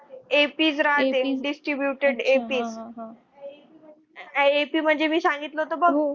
ap म्हणजे मी सांगितलं होतं बघ.